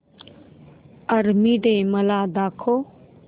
army day मला दाखव